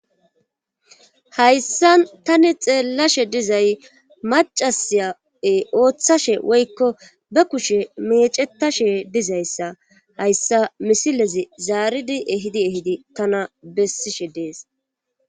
hayssa tani xeellashe dizay macasya7e ooththashe woykko ba kushe mecetashe dizayssa hayssa misilezi zaaridi ehidi ehidi tana bessishe dees.